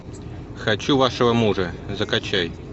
хочу вашего мужа закачай